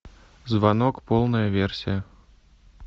звонок полная версия